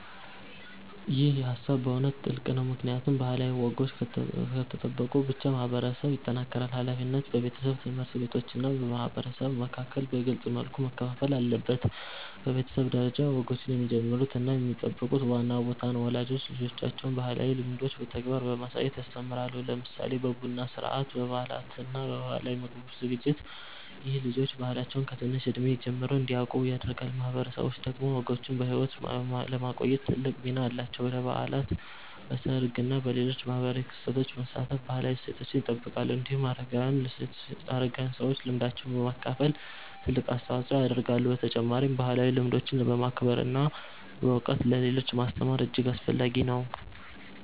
ይህ ሃሳብ በእውነት ጥልቅ ነው፣ ምክንያቱም ባህላዊ ወጎች ከተጠበቁ ብቻ ማህበረሰብ ይጠናከራል። ሃላፊነቱ በቤተሰብ፣ ትምህርት ቤቶች እና ማህበረሰብ መካከል በግልጽ መልኩ መከፋፈል አለበት። በቤተሰብ ደረጃ፣ ወጎችን የሚጀምሩት እና የሚጠብቁት ዋና ቦታ ነው። ወላጆች ልጆቻቸውን ባህላዊ ልምዶችን በተግባር በማሳየት ያስተምራሉ፣ ለምሳሌ በቡና ሥርዓት፣ በበዓላት እና በባህላዊ ምግብ ዝግጅት። ይህ ልጆች ባህላቸውን ከትንሽ እድሜ ጀምሮ እንዲያውቁ ያደርጋል። ማህበረሰቦች ደግሞ ወጎችን በሕይወት ለማቆየት ትልቅ ሚና አላቸው። በበዓላት፣ በሰርግ እና በሌሎች ማህበራዊ ክስተቶች በመሳተፍ ባህላዊ እሴቶችን ይጠብቃሉ። እንዲሁም አረጋዊያን ሰዎች ልምዳቸውን በማካፈል ትልቅ አስተዋጽኦ ያደርጋሉ። በተጨማሪም ባህላዊ ልምዶችን ማክበር እና በእውቀት ለሌሎች ማስተማር እጅግ አስፈላጊ ነው።